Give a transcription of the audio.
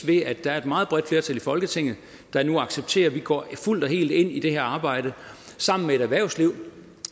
ved at der er et meget bredt flertal i folketinget der nu accepterer at vi går fuldt og helt ind i det her arbejde sammen med et erhvervsliv